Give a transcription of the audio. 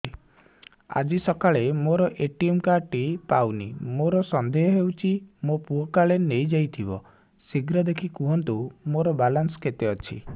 ଆଜି ସକାଳେ ମୋର ଏ.ଟି.ଏମ୍ କାର୍ଡ ଟି ପାଉନି ମୋର ସନ୍ଦେହ ହଉଚି ମୋ ପୁଅ କାଳେ ନେଇଯାଇଥିବ ଶୀଘ୍ର ଦେଖି କୁହନ୍ତୁ ମୋର ବାଲାନ୍ସ କେତେ ଅଛି